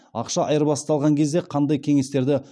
ақша айырбастаған кезде қандай кеңестерді